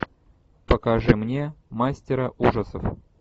покажи мне мастера ужасов